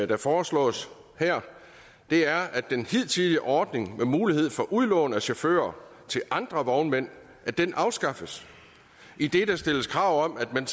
der foreslås her er at den hidtidige ordning med mulighed for udlån af chauffører til andre vognmænd afskaffes idet der stilles krav om at man